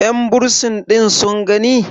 yanbursin ɗin sun gani?